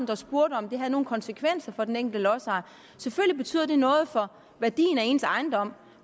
der spurgte om det havde nogen konsekvenser for den enkelte lodsejer selvfølgelig betyder det noget for værdien af ens ejendom